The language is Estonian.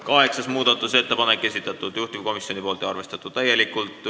Kaheksanda muudatusettepaneku on esitanud juhtivkomisjon ja see on täielikult arvestatud.